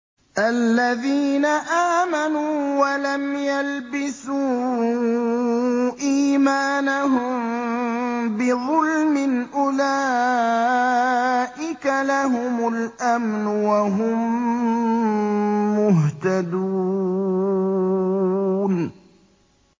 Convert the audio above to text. الَّذِينَ آمَنُوا وَلَمْ يَلْبِسُوا إِيمَانَهُم بِظُلْمٍ أُولَٰئِكَ لَهُمُ الْأَمْنُ وَهُم مُّهْتَدُونَ